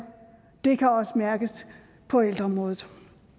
det kan også mærkes på ældreområdet